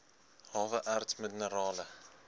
hawe erts minerale